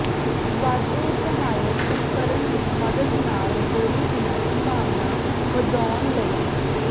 ਵਾਧੂ ਸਹਾਇਕ ਉਪਕਰਣ ਦੀ ਮਦਦ ਨਾਲ ਗੋਲੀ ਦੀਆਂ ਸੰਭਾਵਨਾਵਾਂ ਵਧਾਉਣ ਲਈ